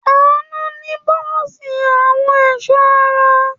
Àánú ní bọ́ọ́sì àwọn ẹ̀sọ́ ara.